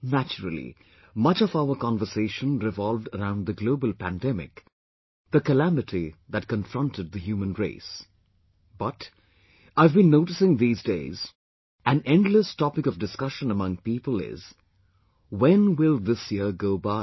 Naturally, much of our conversation revolved around the global pandemic; the calamity that confronted the human race but, I have been noticing these days, an endless topic of discussion among people is, "when will this year go by